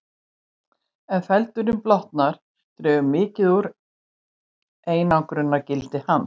Ef feldurinn blotnar dregur mikið úr einangrunargildi hans.